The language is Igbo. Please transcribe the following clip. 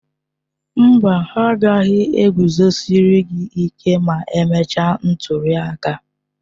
Mba, ha agaghị e guzosịrị gị ịke ma emechaa ntuli aka.